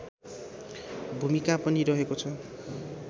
भूमिका पनि रहेको छ